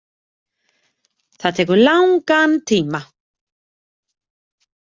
Það tekur langan tíma.